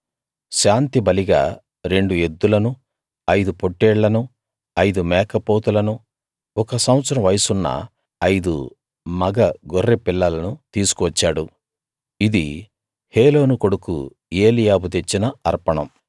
శాంతి బలిగా రెండు ఎద్దులను ఐదు పోట్టేళ్ళనూ ఐదు మేకపోతులను ఒక సంవత్సరం వయసున్న ఐదు మగ గొర్రె పిల్లలను తీసుకు వచ్చాడు ఇది హేలోను కొడుకు ఏలీయాబు తెచ్చిన అర్పణం